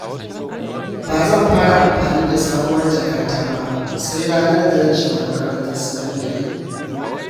Ba zan fara amfani da sabuwar jakata ba sai ranar da zan shiga makarantar sakandare